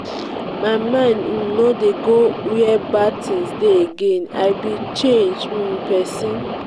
my mind um no dey go where bad thing dey again. i be changed um person.